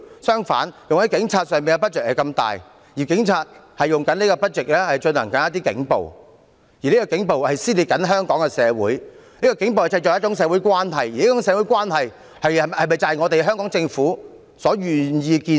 相反，用在警察上的撥款卻這麼大，而警察正利用這些撥款進行警暴，而這些警暴正撕裂香港社會，並製造一種社會關係，而這種社會關係是否就是香港政府願意看到？